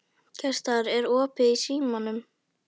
Gestar, er opið í Símanum?